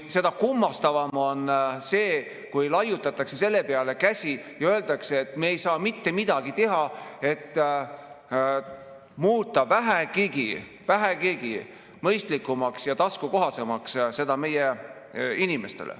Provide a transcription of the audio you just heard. Seda kummastavam on see, kui laiutatakse selle peale käsi ja öeldakse, et me ei saa mitte midagi teha, et muuta seda meie inimestele vähegi mõistlikumaks ja taskukohasemaks.